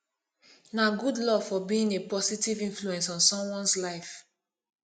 na good love for being a positive influence on someones life